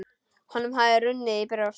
Honum hafði runnið í brjóst.